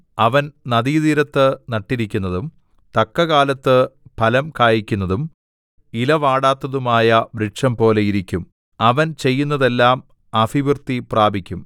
അവൻ നദീതീരത്ത് നട്ടിരിക്കുന്നതും തക്കകാലത്ത് ഫലം കായ്ക്കുന്നതും ഇലവാടാത്തതുമായ വൃക്ഷംപോലെ ഇരിക്കും അവൻ ചെയ്യുന്നതെല്ലാം അഭിവൃദ്ധിപ്രാപിക്കും